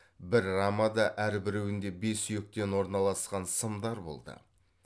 бір рамада әрбіреуінде бес сүйектен орналасқан сымдар болды